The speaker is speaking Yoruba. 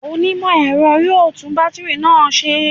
Onímọ̀-ẹ̀rọ yóò tún bátìrì náà ṣe